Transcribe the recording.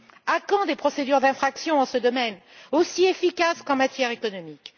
À quand des procédures d'infraction dans ce domaine, aussi efficaces qu'en matière économique?